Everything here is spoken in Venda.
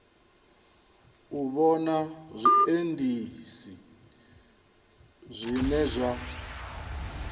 u vhona zwiendisi zwine zwa